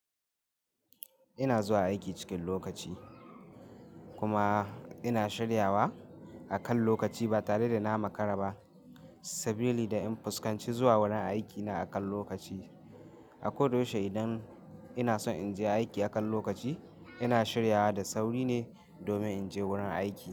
Ina zuwa aiki cikin lokaci kuma ina shiryawa akan lokaci ba tare da na makara ba, sabili da in fuskanci zuwa wurin aikina akan lokaci. A ko da yaushe idan ina son in je aiki akan lokaci, ina shiryawa da sauri ne domin in je wurin aiki.